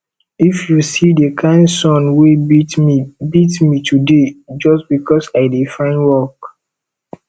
if you see the kin sun wey beat me beat me today just because i dey find work